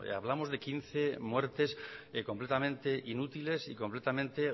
hablamos de quince muertes completamente inútiles y completamente